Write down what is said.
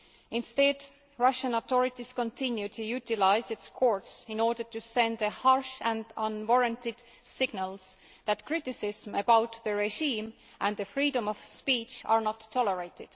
Instead, Russia's authorities continue to utilise its courts in order to send harsh and unwarranted signals that criticism of the regime and freedom of speech are not tolerated.